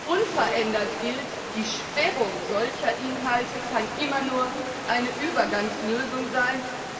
Unverändert gilt Die Sperrung solcher Inhalte kann immer nur eine Übergangslösung sein.